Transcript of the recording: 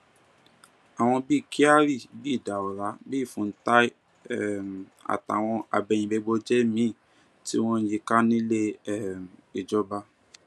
àwọn bíi kyari bíi daura bíi funtua um àtàwọn agbẹyìnbẹbọjẹ míín tí wọn yí i ká nílé um ìjọba